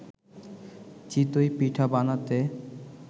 চিতই পিঠা বানাতে